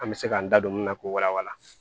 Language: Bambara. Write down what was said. An bɛ se k'an da don min na k'o wala wala